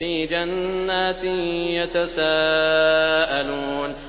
فِي جَنَّاتٍ يَتَسَاءَلُونَ